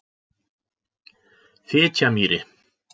Fitjamýri